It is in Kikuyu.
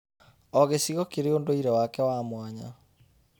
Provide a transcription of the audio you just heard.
O gĩcigo kĩrĩ ũndũire wake wa mwanya.